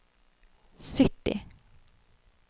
sytti